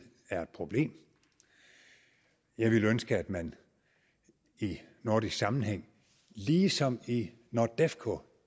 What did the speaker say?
er et problem jeg ville ønske at man i nordisk sammenhæng ligesom i nordefco